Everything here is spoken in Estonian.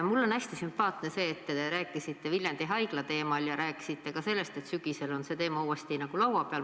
Mulle on hästi sümpaatne see, et te rääkisite Viljandi Haigla teemal ja rääkisite ka sellest, et sügisel on see teema uuesti arutelu all.